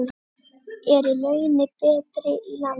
Eru launin betri í landi?